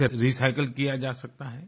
इसे रिसाइकिल किया जा सकता है